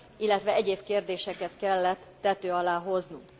illetve egyéb kérdéseket kellett tető alá hoznunk.